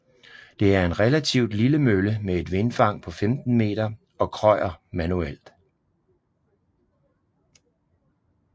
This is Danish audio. Det er en relativt lille mølle med et vindfang på 15 meter og krøjer manuelt